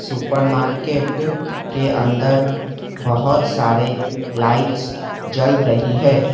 ऊपर मार्केट के अंदर बहुत सारे लाइट्स जल रही है।